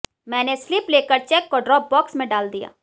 मैंने स्लिप लेकर चेक को ड्रॉप बॉक्स में डाल दिया